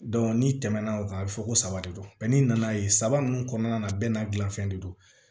n'i tɛmɛna o kan a bɛ fɔ ko saba de don n'i nana ye saba mun kɔnɔna na bɛɛ n'a dilanfɛn de don